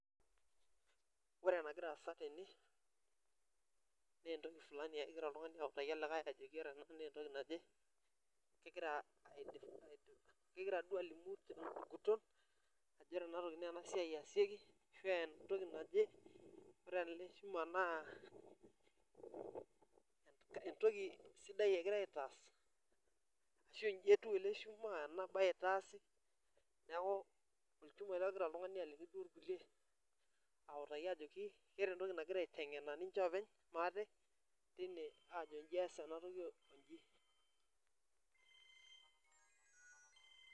Ore enagiraa asa tene naa entoki fulani egira oltung'ani autaki olikae ajoki ore entoki naje kegira duo alimu tenguton ajo ore ena siai naa ena siai eesieki ashua entoki naje ore ele shuma naa entoki sidai egirai aitaasa ashua entoki naje eitaasi neeku olchuma ele ogira oltung'ani aliki duo irkulie ataki ajoki keeta entoki nagira ninche aiteng'ena pookin maate tine aajo inji ees enatoki onji